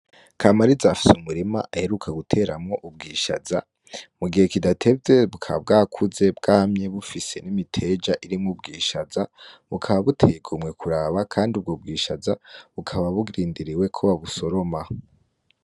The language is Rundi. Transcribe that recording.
Kama arizafise umurima aheruka guteramwo ubwishaza mu gihe kidatevye bukaba bwakuze bwamye bufise n'imiteja irimwo ubwishaza bukaba butegumwe kuraba, kandi ubwo bwishaza bukaba burindiriwe ko ba busoroma.